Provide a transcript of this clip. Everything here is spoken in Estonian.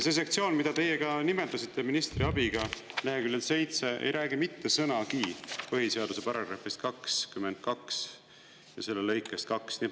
See sektsioon, mida teie ka nimetasite ministri abiga, leheküljel 7, ei räägi mitte sõnagi põhiseaduse § 22 lõikest 2.